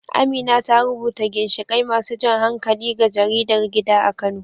Amina ta rubuta ginshiƙai masu jan hankali ga jaridar gida a Kano.